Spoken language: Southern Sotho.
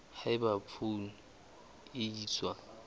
ha eba poone e iswa